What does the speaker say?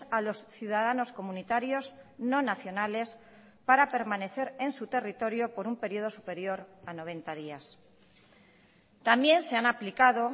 a los ciudadanos comunitarios no nacionales para permanecer en su territorio por un periodo superior a noventa días también se han aplicado